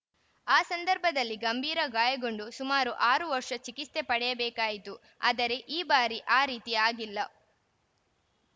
ಆ ಸಂದರ್ಭದಲ್ಲಿ ಗಂಭೀರಗಾಯಗೊಂಡು ಸುಮಾರು ಆರು ವರ್ಷ ಚಿಕಿತ್ಸೆ ಪಡೆಯಬೇಕಾಯಿತು ಆದರೆ ಈ ಬಾರಿ ಆ ರೀತಿ ಆಗಿಲ್ಲ